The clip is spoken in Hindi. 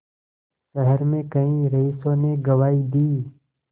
शहर में कई रईसों ने गवाही दी